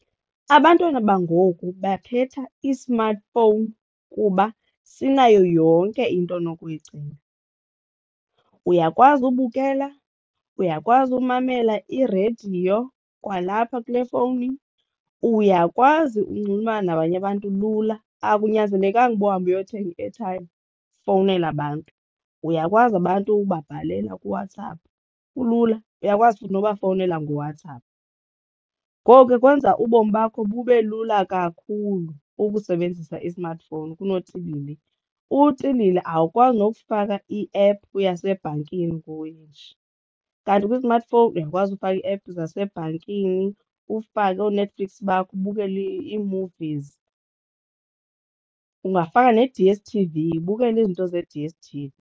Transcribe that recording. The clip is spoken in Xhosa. Abantwana bangoku bakhetha i-smartphone kuba sinayo yonke into onokuyicinga uyakwazi ubukela, uyakwazi umamela irediyo kwalapha kule fowuni, uyakwazi unxulumana nabanye abantu lula akunyanzelekanga uba uhambe uyothenga i-airtime ufowunele abantu. Uyakwazi abantu ubabhalela kuWhatsApp, kulula uyakwazi futhi nokubafowunela ngoWhatsApp. Ngoko ke kwenza ubomi bakho bube lula kakhulu ukusebenzisa i-smartphone kunotilili. Utilili awukwazi nokufaka iephu yasebhankini kanti kwi-smartphone uyakwazi ukufaka i-app zasebhankini ufake ooNetflix bakho ubukele ii-movies ungafaka ne-D_S_T_V ubukele izinto ze-D_S_T_V.